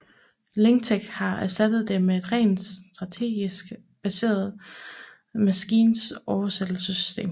Lingtech har erstattet det med et rent statistisk baseret maskinoversættelsessystem